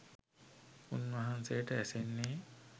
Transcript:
උන්වහන්සේට ඇසෙන්නේ